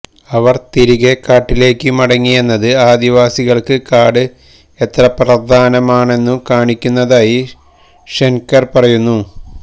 അവര് തിരികെ കാട്ടിലേക്കു മടങ്ങിയെന്നത് ആദിവാസികള്ക്ക് കാട് എത്ര പ്രധാനമാണെന്നു കാണിക്കുന്നതായി ഷെന്കെര് പറയുന്നു